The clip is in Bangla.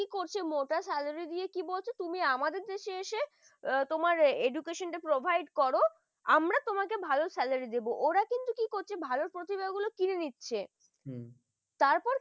কি করছে মোটা salary দিয়ে কি বলছ তুমি আমাদের দেশে এসে তোমার education টা provide করো, আমরা তোমাকে ভালো salary দেব ওরা কিন্তু কি করছে ভালো প্রতিভা গুলো কিনে নিচ্ছে। হম তারপর